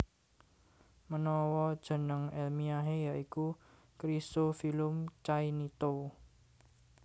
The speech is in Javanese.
Menawa jeneng elmiahe ya iku Chrysophyllum cainito